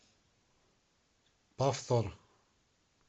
повтор